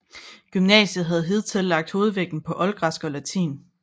Gymnasiet havde hidtil lagt hovedvægten på oldgræsk og latin